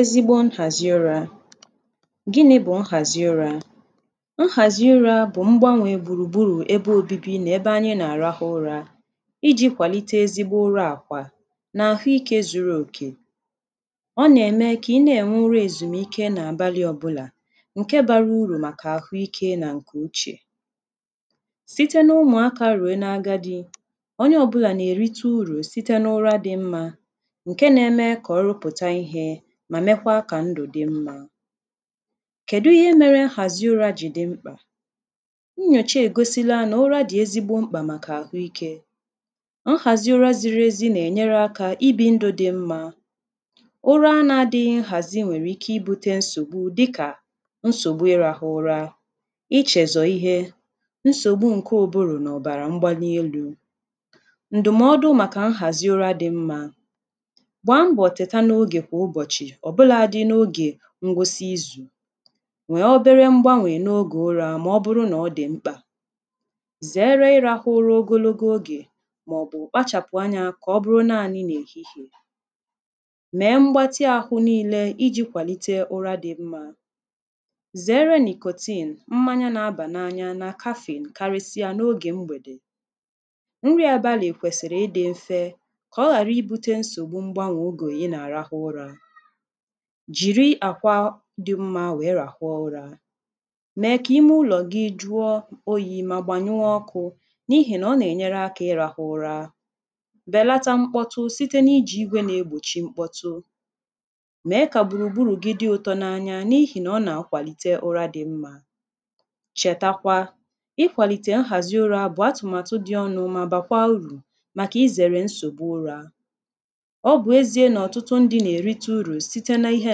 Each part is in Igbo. Ezigbo nhàzị ụrā, gịnị̄ bụ̀ nhàzị ụrā? Nhàzi urā bụ̀ mgbanwē gbùrùgburù ebe obibi nà ebe ànyị nà-àrahụ ụrā ijī kwàlite ezigbo ụra àkwà nà àhuikē zuru òkè Ọ nà-ème kà ị na-ènwe ura èzùmike n’àbalị̄ ọbụlà ǹke bara urù màkà àhuikē nà ǹkè uchè Site n’ụmụ̀akā rùo na agadị̄ onye ọbụlà nà-èrita urù site n’ura dị̄ mmā ǹke nā-eme kà ọ rụpụ̀ta ihē mà mekwaa kà ndụ̀ dị mmā Kèdu ihe mērē nhàzi ụrā jì dị mkpà? Nnyòcha ègosila nà ụra dị̀ ezigbo mkpà màkà àhụikē nhàzi ụra ziri ezi nà-ènyere akā ibī ndụ̄ dị mmā Ụra nā-adịghī nhàzi nwèrè ike ibūtē nsògbu dịkà nsògbu ịrāhụ̄ ụra ichèzò ihe, nsògbu ǹke ụ̀bụrụ̀ nà ọ̀bàrà mgbali elū. Ǹdụ̀mọdụ màkà nhàzị ụra dị mmā, gbàa mbọ̀ tèta n’ogè kwà ụbọ̀chị̀ ọ̀bụlādị̄ n’ogè ngwụsị izù nwèe obere mgbanwè n’ogè ụrā mà ọ bụrụ nà ọ dị̀ mkpà zèere ịrāhụ̄ ụra ogologo ogè màọ̀bụ̀ kpachàpụ anyā kà ọ bụrụ naānị n’èhihìè mèe mgbatị àhụ niīle ijī kwàlite ụra dị mmā zèere nicotine, mmanya na-abà n’anya nà caffeine karịsịa n’ogè mgbèdè nri àbalị̀ kwèsìrì ịdị̄ mfe kà ọ hàrị ibūtē nsògbu mgbanwè ogè ị nà-àrahụ ụrā jìri àkwa dị mmā nwèe ràhụ ụrā mèe kà ime ụlọ̀ gị jụọ oyī mà gbànyụọ ọkụ̄ n’ihìnà ọ nà-ènyere akā ịrāhụ̄ ụra bèlata mkpọtụ site nà ijì igwē na-egbòchi mkpọtụ mèe kà gbùrùgburù gị dị ụtọ n’anya n’ihìnà ọ nà-akwàlite ụra dị mmā, chètakwa Ịkwàlìtè nhàzi ụrā bụ̀ atụ̀màtụ dị ọnụ̄ mà bàkwaa urù màkà izèrè nsògbu ụrā Ọ bụ̀ ezīē nà ọ̀tụtụ ndị̄ nà-èrite urù site n’ihe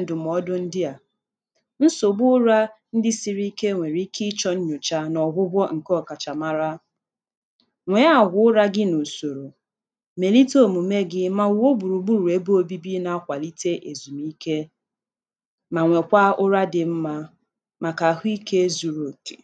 ǹdụ̀mọdụ ndị à Nsògbu ụrā ndị sịrị ike nwèrè ike ịchọ̄ nnyòcha nà ọ̀gwụgwọ ǹke ọ̀kàchà mara Nwèe àgwà ụrā gị n’ùsòrò mèlite òmùme gī mà wùo gbùrùgburù ebe obibi na-akwàlite èzùmike mà nwèkwaa ụra dị mmā màkà àhụikē zuru òkè